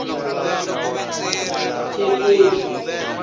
thekwini